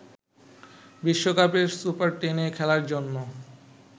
বিশ্বকাপের সুপার টেনে খেলার জন্য